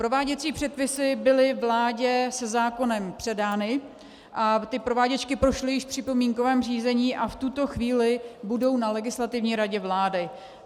Prováděcí předpisy byly vládě se zákonem předány a ty prováděčky prošly již v připomínkovém řízení a v tuto chvíli budou na Legislativní radě vlády.